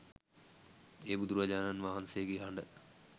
ඒ බුදුරජාණන්වහන්සේගේ හඬ